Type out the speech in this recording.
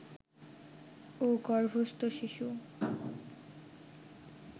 ও গর্ভস্থ শিশু